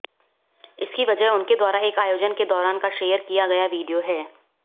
इसकी वजह उनके द्वारा एक आयोजन के दौरान का शेयर किया गया वीडियो है